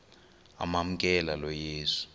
amamkela lo yesu